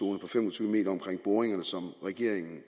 tyve m omkring boringerne som regeringen